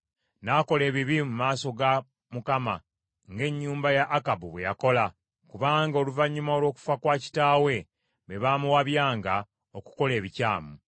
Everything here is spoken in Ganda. N’akola ebibi mu maaso ga Mukama , ng’ennyumba ya Akabu bwe yakola, kubanga oluvannyuma olw’okufa kwa kitaawe be baamuwabyanga, okukola ebikyamu.